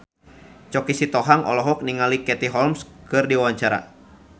Choky Sitohang olohok ningali Katie Holmes keur diwawancara